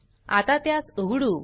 आता त्यास उघडू